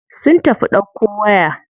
Sun tafi ɗauko waya.